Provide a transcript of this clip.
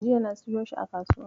Jiya na siyo shi a kasuwa.